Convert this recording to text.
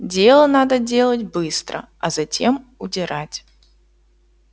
дело надо делать быстро а затем удирать